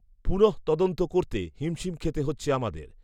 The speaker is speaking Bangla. পুনঃতদন্ত করতে হিমশিম খেতে হচ্ছে আমাদের